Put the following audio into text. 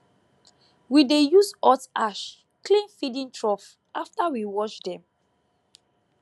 we dey use hot ash clean feeding trough after we wash dem